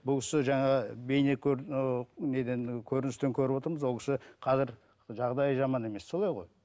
бұл кісі жаңағы бейне ііі неден көріністен көріп отырмыз ол кісі қазір жағдайы жаман емес солай ғой